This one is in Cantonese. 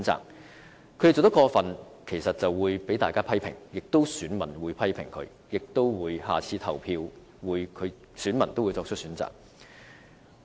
若他們做得過分，固然會受到大家的批評，選民會批評他們，而且下次表決時，自然會作出選擇。